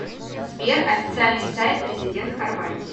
сбер официальный сайт президент хорватии